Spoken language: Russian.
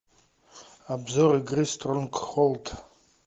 обзор игры стронгхолд